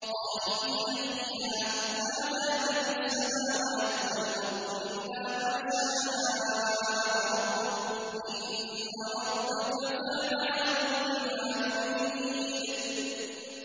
خَالِدِينَ فِيهَا مَا دَامَتِ السَّمَاوَاتُ وَالْأَرْضُ إِلَّا مَا شَاءَ رَبُّكَ ۚ إِنَّ رَبَّكَ فَعَّالٌ لِّمَا يُرِيدُ